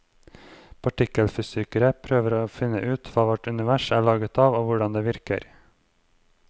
Partikkelfysikere prøver å finne ut hva vårt univers er laget av og hvordan det virker.